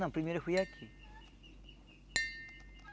Não, primeiro foi aqui.